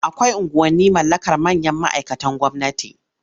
Akwai unguwanni mallakar manyan ma'aikatan gwamnati.